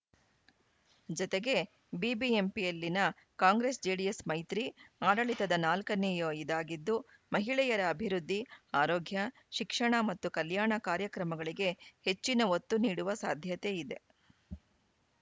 ಜತೆಗೆ ಬಿಬಿಎಂಪಿಯಲ್ಲಿನ ಕಾಂಗ್ರೆಸ್‌ಜೆಡಿಎಸ್‌ ಮೈತ್ರಿ ಆಡಳಿತದ ನಾಲ್ಕನೇಯ ಇದಾಗಿದ್ದು ಮಹಿಳೆಯರ ಅಭಿವೃದ್ಧಿ ಆರೋಗ್ಯ ಶಿಕ್ಷಣ ಮತ್ತು ಕಲ್ಯಾಣ ಕಾರ್ಯಕ್ರಮಗಳಿಗೆ ಹೆಚ್ಚಿನ ಒತ್ತು ನೀಡುವ ಸಾಧ್ಯತೆ ಇದೆ